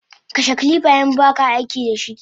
Kashe kilifa inbaka aikidashi!